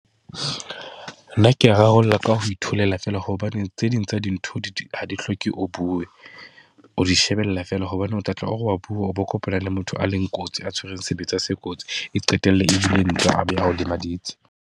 Nna ke ya rarollla ka ho itholela fela, hobane tse ding tsa dintho ha di hloke o bue. O di shebella fela hobane o tla tla, o re wa bua o bo kopana le motho a leng kotsi a tshwereng sebetsa se kotsi. E qetelle ebile ntwa a be a ho lemaditse.